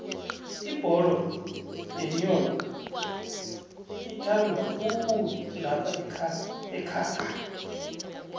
ibholo yenyowo ithandwakhulu laphaekhaga